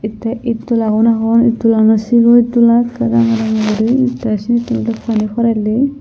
tey ed dolagun agon ed dolaguno sero ed dola ekke ranga ranga guri tey sinni tun oley pani porelli.